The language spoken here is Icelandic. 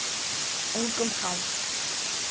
Engum háð.